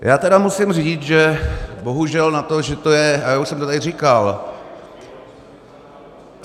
Já teda musím říct, že bohužel na to, že to je - a já už jsem to tady říkal...